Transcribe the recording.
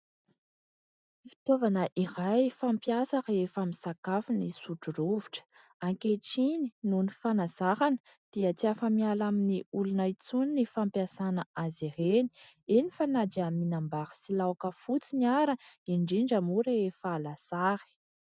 Fitaovana iray fampiasa rehefa misakafo ny sotro rovitra. Ankehitriny, noho ny fanazarana dia tsy afa-miala amin'ny olona intsony ny fampiasana azy ireny, eny fa na dia mihinam-bary sy laoka fotsiny ara, indrindra moa rehefa lasary.